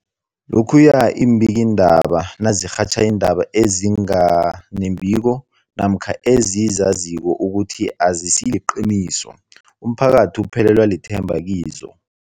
Lokhuya iimbikiindaba nazirhatjha iindaba ezinga nembiko namkha ezizaziko ukuthi azisiliqiniso, umphakathi uphelelwa lithemba kizo.